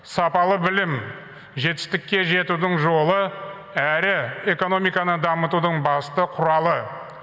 сапалы білім жетістікке жетудің жолы әрі экономиканы дамытудың басты құралы